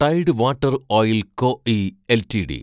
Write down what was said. Tide water oil co (I) LTD